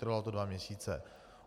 Trvalo to dva měsíce.